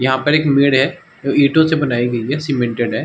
यहाँ पर एक मेड़ है जो ईटों से बनाई गयी है। सिमेन्टेड हैं।